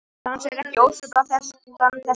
Dans ekki ósvipaðan þessum.